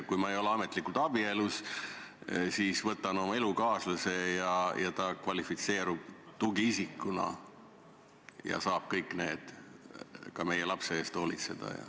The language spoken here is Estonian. Kui ma ei ole ametlikult abielus, siis võtan kaasa oma elukaaslase, kes kvalifitseerub tugiisikuna ja saab ka meie lapse eest hoolitseda.